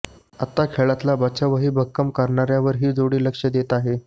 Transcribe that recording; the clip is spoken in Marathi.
आता खेळातला बचावही भक्कम करण्यावर ही जोडी लक्ष देते आहे